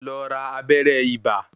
Lọ ra abẹ́rẹ́ ibà.